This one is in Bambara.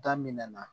Daminɛna